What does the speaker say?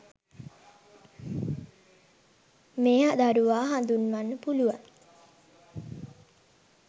මේ දරුවා හඳුන්වන්න පුළුවන්.